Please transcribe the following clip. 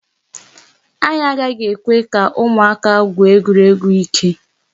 Anyị agaghị ekwe ka ụmụaka gwuo egwuregwu ike.